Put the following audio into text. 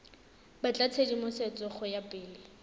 batla tshedimosetso go ya pele